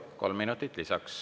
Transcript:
Kolm minutit lisaks.